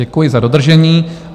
Děkuji za dodržení.